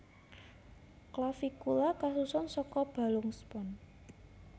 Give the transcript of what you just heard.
Clavicula kasusun saka balung spons